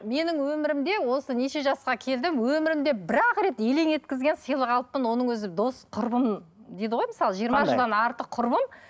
менің өмірімде осы неше жасқа келдім өмірімде бір ақ рет елең еткізген сыйлық алыппын оның өзі дос құрбым дейді ғой мысалы жиырма жылдан артық құрбым